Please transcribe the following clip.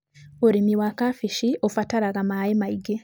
Ũrĩmi wa kabici ũbataraga maaĩ maingĩ.